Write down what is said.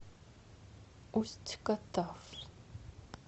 усть катав